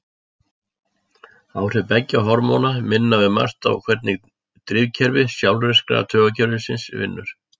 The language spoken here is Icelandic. Áhrif beggja hormóna minna um margt á hvernig drifkerfi sjálfvirka taugakerfisins vinnur.